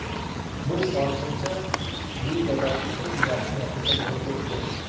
Bu hozircha ligadagi eng yaxshi natija bo‘lib turibdi.